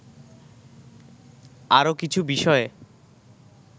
আরো কিছু বিষয়ে